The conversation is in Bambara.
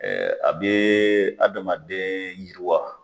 Ɛɛ a bee adamaden yiriwa